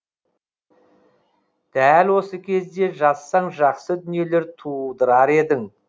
дәл осы кезде жазсаң жақсы дүниелер тудырар едің